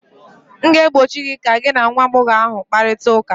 m ga-egbochi gị ka gị na nwa agbọghọ ahụ kparịta ụka!